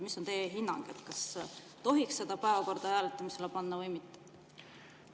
Mis on teie hinnang, kas tohiks seda päevakorda hääletamisele panna või mitte?